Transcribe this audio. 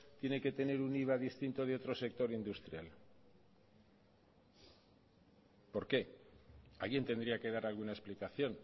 tiene que tener un iva distinto de otro sector industrial por qué alguien tendría que dar alguna explicación